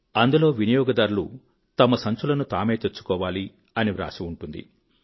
అందులో వినియోగదారులు తమ సంచులను తామే తెచ్చుకోవాలి అని వ్రాసి ఉంటుంది